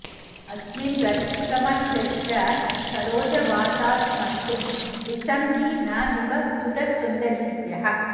अस्मिन् रतिश्रमनुदश् च सरोजवाताः स्मर्तुं दिशन्ति न दिवः सुरसुन्दरीभ्यः